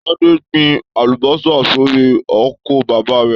Tade gbìn àlùbọ́sà sórí oko bàbá rẹ.